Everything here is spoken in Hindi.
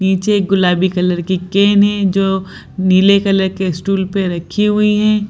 नीचे एक गुलाबी कलर की कैन है जो नीले कलर के स्टूल पे रखी हुई है।